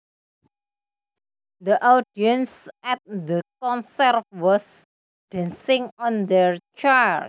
The audience at the concert was dancing on their chairs